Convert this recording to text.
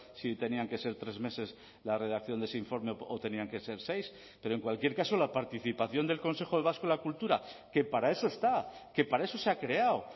si tenían que ser tres meses la redacción de ese informe o tenían que ser seis pero en cualquier caso la participación del consejo vasco de la cultura que para eso está que para eso se ha creado